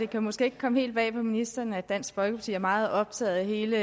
kan måske ikke komme helt bag på ministeren at dansk folkeparti er meget optaget af hele